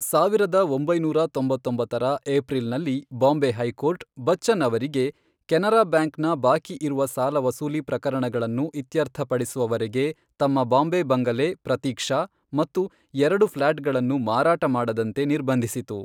ಸಾವಿರದ ಒಂಬೈನೂರ ತೊಂಬತ್ತೊಂಬರ ಏಪ್ರಿಲ್ ನಲ್ಲಿ ಬಾಂಬೆ ಹೈಕೋರ್ಟ್, ಬಚ್ಚನ್ ಅವರಿಗೆ, ಕೆನರಾ ಬ್ಯಾಂಕ್ನ ಬಾಕಿ ಇರುವ ಸಾಲ ವಸೂಲಿ ಪ್ರಕರಣಗಳನ್ನು ಇತ್ಯರ್ಥಪಡಿಸುವವರೆಗೆ ತಮ್ಮ ಬಾಂಬೆ ಬಂಗಲೆ 'ಪ್ರತೀಕ್ಷಾ' ಮತ್ತು ಎರಡು ಫ್ಲಾಟ್ಗಳನ್ನು ಮಾರಾಟ ಮಾಡದಂತೆ ನಿರ್ಬಂಧಿಸಿತು.